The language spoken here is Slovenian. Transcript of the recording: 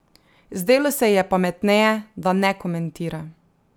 Zdelo se ji je pametneje, da ne komentira.